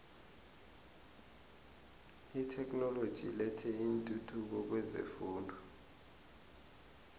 itheknoloji ilethe intuthuko kwezefundo